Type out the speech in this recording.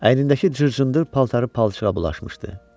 Əynindəki cır-cındır paltarı palçığa bulaşmışdı.